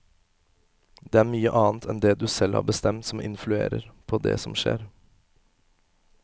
Det er mye annet enn det du selv har bestemt, som influerer på det som skjer.